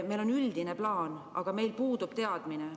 Meil on üldine plaan, aga meil puudub teadmine.